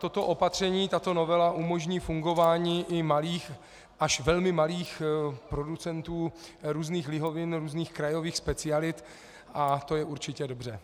Toto opatření, tato novela, umožní fungování i malých až velmi malých producentů různých lihovin, různých krajových specialit, a to je určitě dobře.